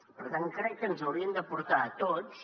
per tant crec que ens haurien de portar a tots